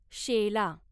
शेला